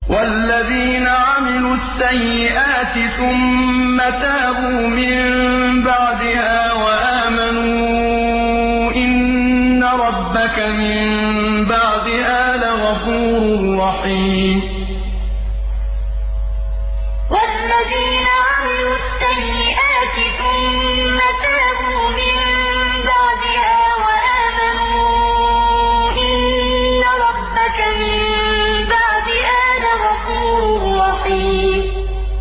وَالَّذِينَ عَمِلُوا السَّيِّئَاتِ ثُمَّ تَابُوا مِن بَعْدِهَا وَآمَنُوا إِنَّ رَبَّكَ مِن بَعْدِهَا لَغَفُورٌ رَّحِيمٌ وَالَّذِينَ عَمِلُوا السَّيِّئَاتِ ثُمَّ تَابُوا مِن بَعْدِهَا وَآمَنُوا إِنَّ رَبَّكَ مِن بَعْدِهَا لَغَفُورٌ رَّحِيمٌ